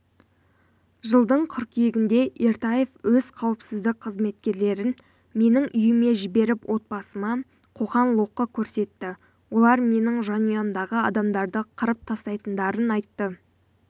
жылдың қыркүйегінде ертаев өз қауіпсіздік қызметкерлерін менің үйіме жіберіп отбасыма қоқан-лоққы көрсетті олар менің жанұямдағы адамдарды қырып тастайтындарын айтты